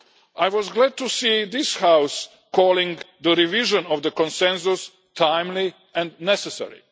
I was glad to see this House calling the revision of the Consensus timely and necessary.